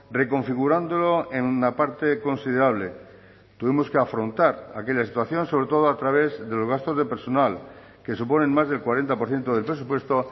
reconfigurándolo en una parte considerable tuvimos que afrontar aquella situación sobre todo a través de los gastos de personal que suponen más del cuarenta por ciento del presupuesto